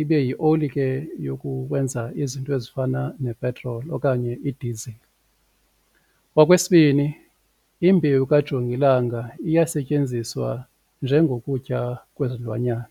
ibeyi oli ke yokukwenza izinto ezifana nepetroli okanye idizili. Okwesibini imbewu kajongilanga iyasetyenziswa njengokutya kwezilwanyana.